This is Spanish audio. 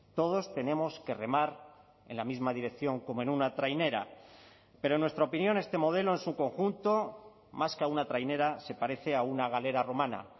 todos tenemos que remar en la misma dirección como en una trainera pero en nuestra opinión este modelo en su conjunto más que a una trainera se parece a una galera romana